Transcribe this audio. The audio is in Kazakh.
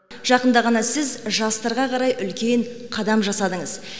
жақында ғана сіз жастарға қарай үлкен қадам жасадыңыз